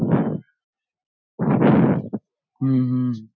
हम्म हम्म